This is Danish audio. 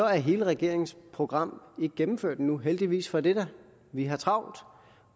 er hele regeringens program ikke gennemført endnu heldigvis for det da vi har travlt